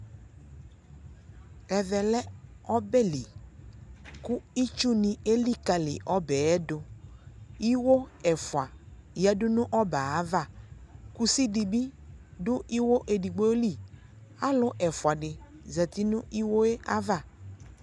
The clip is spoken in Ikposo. Ɛvɛ lɛ ɔbɛ liKu itsu ni elikali ɔbɛɛ duIwo ɛfua yadu nu ɔbɛɛ avaKusi di bi du iwo ɛdigbo liAlu ɛfua di zati nu iwo ava